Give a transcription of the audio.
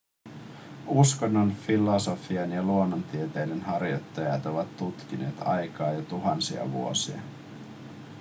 uskonnon filosofian ja luonnontieteiden harjoittajat ovat tutkineet aikaa jo tuhansia vuosia